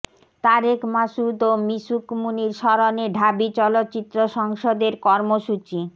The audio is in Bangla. তারেক মাসুদ ও মিশুক মুনীর স্মরণে ঢাবি চলচ্চিত্র সংসদের কর্মসূচি